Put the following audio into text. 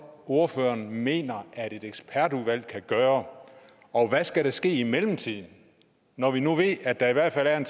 ordføreren mener at et ekspertudvalg kan gøre og hvad skal der ske i mellemtiden når vi nu ved at der i hvert fald er